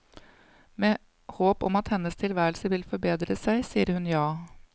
Med håp om at hennes tilværelse vil forbedre seg, sier hun ja.